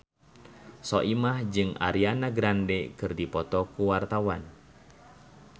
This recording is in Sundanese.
Soimah jeung Ariana Grande keur dipoto ku wartawan